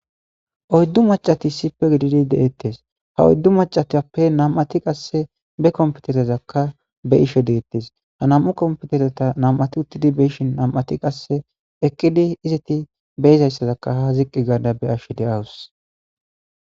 oyddu macati issipe gididi de'ettes ha oyddu macatappe nam'ati qasse be komputerezakka be'isho deettes ha nam'u komputereta nam'ati uttidi beyishin nam'ati qasse eqqidi izeti be'izayssazakka ha ziqqi gaada be'ash de'awus